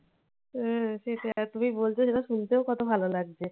হুম সে সেটা তুমি বলছো সেটা শুনতেও কত ভালো লাগছে।